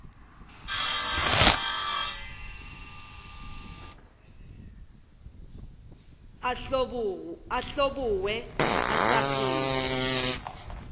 a hlobogwe a sa phela